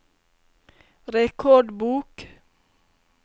rekordbok